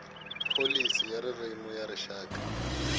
pholisi ya ririmi ya rixaka